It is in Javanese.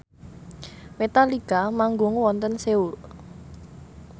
Metallica manggung wonten Seoul